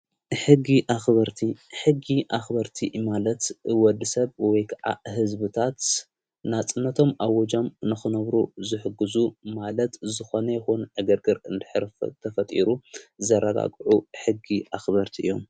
ሕጊ ኣኽበርቲ ሕጊ ኣኽበርቲ ማለት ወዲ ሰብ ወይዓ ሕዝቢታት ናጽነቶም ኣወጃም ንኽነብሩ ዘሕግዙ ማለት ዝኾነ ይኹን እገርግር እንድኅርፊ ተፈጢሩ ዘረጋጕዑ ሕጊ ኣኽበርቲ እዮም።